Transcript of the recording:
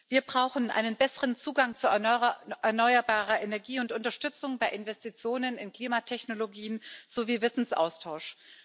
Wir brauchen einen besseren Zugang zu erneuerbarer Energie und Unterstützung bei Investitionen in Klimatechnologien sowie Wissensaustausch.